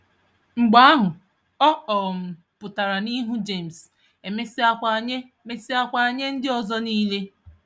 Mgbe ahụ, ọ um pụtara n'ihu Jemes, e mesịakwa nye mesịakwa nye ndịozi nile.